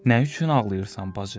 Nə üçün ağlayırsan, bacı?